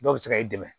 Dɔw bɛ se ka e dɛmɛ